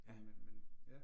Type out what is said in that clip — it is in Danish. Men men, ja